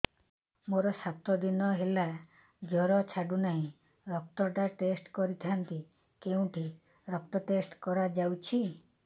ମୋରୋ ସାତ ଦିନ ହେଲା ଜ୍ଵର ଛାଡୁନାହିଁ ରକ୍ତ ଟା ଟେଷ୍ଟ କରିଥାନ୍ତି କେଉଁଠି ରକ୍ତ ଟେଷ୍ଟ କରା ଯାଉଛି